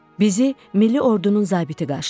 Bizi milli ordunun zabiti qarşıladı.